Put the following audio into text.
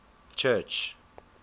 church